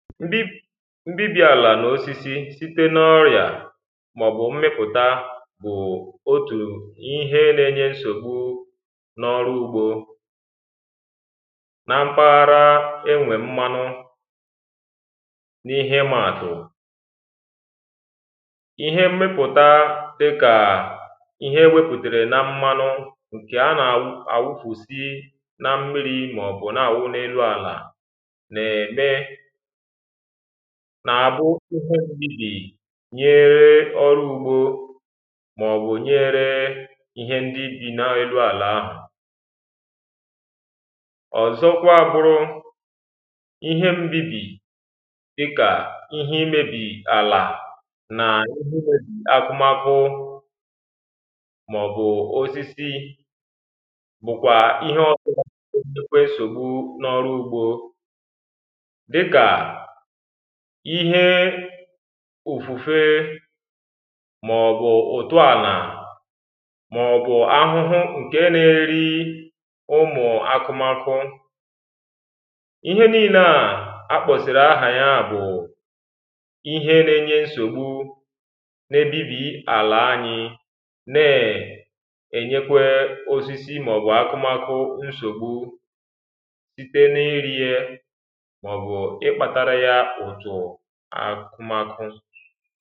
mbibi mbibi ala na osisi site n’ọya ma ọ bụ mmịpụta bụ otù ihe le-enye nsogbu n’ọrụ ugbo na mpaghara enwe mmanụ n’ihe ịma atụ ihe mmịpụta dị ka ihe eweputere na mmanụ nke a na-awukusi na mmiri ma ọ bụ na-awụ n’elu ala n'eme kà-àbụ uku mbibi nyere ọrụ ugbo màọbụ̀ nyere ihe ndị bì na-elu àlà ahụ̀ ọzọkwa bụrụ ihe mbibi dịkà ihe imebì àlà nà ihe imebì akụmakụ màọbụ̀ osisi bụ̀kwà ihe ọsọ̇ nà-èsihi nsògbu n’ọrụ ugbo ihe ùfùfe màọ̀bụ̀ ụ̀tụ àlà màọ̀bụ̀ ahụhụ ǹke na-eri ụmụ̀ akụmakụ ihe niile à a kpọ̀sị̀rị̀ ahà ya bụ̀ ihe na-enye nsògbu na ebibi àlà anyị na-ènyekwe osisi màọ̀bụ̀ akụmakụ nsògbu site n’iri ye akụmatụ